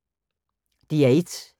DR1